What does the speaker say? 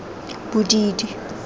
bodidi